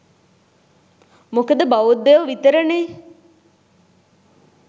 මොකද බෞද්ධයො විතරනේ